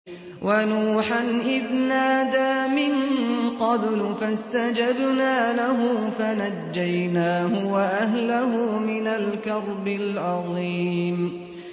وَنُوحًا إِذْ نَادَىٰ مِن قَبْلُ فَاسْتَجَبْنَا لَهُ فَنَجَّيْنَاهُ وَأَهْلَهُ مِنَ الْكَرْبِ الْعَظِيمِ